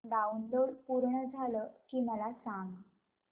download पूर्ण झालं की मला सांग